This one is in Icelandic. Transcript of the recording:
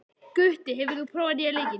Gutti, hefur þú prófað nýja leikinn?